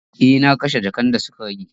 E, na kashe jakan da suka rage.